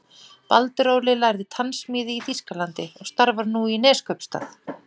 Baldur Óli lærði tannsmíði í Þýskalandi og starfar nú í Neskaupstað.